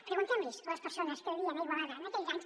preguntem los a les persones que vivien a igualada en aquells anys